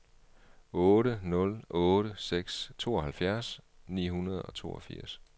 otte nul otte seks tooghalvfjerds ni hundrede og toogfirs